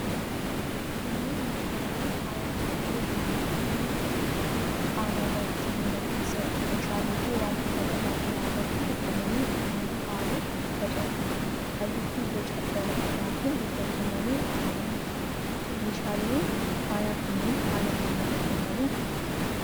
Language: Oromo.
Kunneen meeshaalee faayaa callee irraa hojjetamaniidha. Qaama irratti, mana keessatti, meeshaaleefi wantoota garaa garaa irratti hidhamanii ittin faayuuf tajaajilu. Halluufi boca garaa garaatiin hojjetamanii kaa'amanii jiru. Meeshaaleen faayaa kunneen haala kamiitiin hojjetamu?